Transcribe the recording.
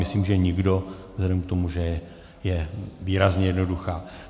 Myslím, že nikdo vzhledem k tomu, že je výrazně jednoduchá.